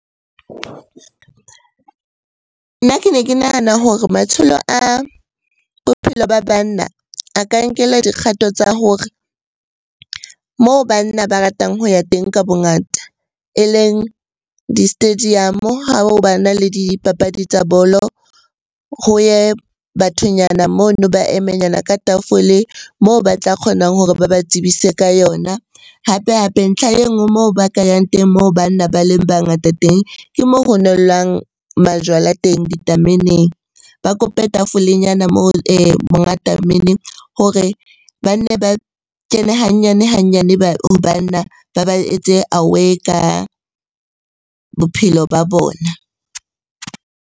Nna ke ne ke nahana hore matsholo a bophelo ba banna a ka nkelwa dikgato tsa hore moo banna ba ratang ho ya teng ka bongata e leng di-stadium-o ha ho bana le dipapadi tsa bolo. Ho ye bathonyana mono, ba emenyana ka tafole moo ba tla kgonang hore ba ba tsebise ka yona. Hape-hape ntlha e nngwe moo ba ka yang teng moo banna ba leng ba ngata teng, ke mo ho nellwang majwala teng ditameneng. Ba kope tafolenyana moo monga tamene hore ba nne ba kene hanyane-hanyane ho banna, ba ba etse aware ka bophelo ba bona.